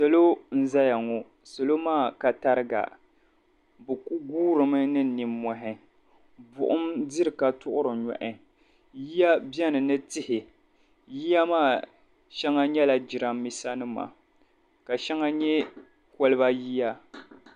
Salɔ n ʒaya ŋɔ . salɔ maa ka tariga bi ku guurimi ni ninmɔhi, buɣim diri katuɣiri nyɔhi yiya beni ni tihi, yiya maa shaŋa nyɛla jiran bisa nima, ka shaŋa nyɛ koliba yiya